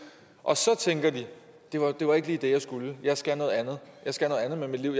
og så tænker de det var det var ikke lige det jeg skulle jeg skal noget andet jeg skal noget andet med mit liv